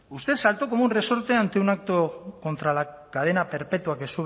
usted saltó como un resorte ante un acto contra la cadena perpetua que